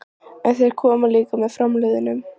En þeir koma líka með framliðnum.